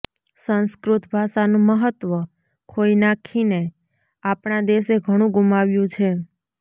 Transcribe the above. સંસ્કૃત ભાષાનું મહત્વ ખોઈ નાખીને આપણા દેશે ઘણુ ગુમાવ્યું છે